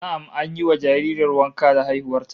Na'am, an yi wa jaririyar wanka da haihuwar ta